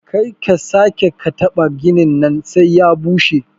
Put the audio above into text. Karka sake kataɓa ginin nan sai ya bushe.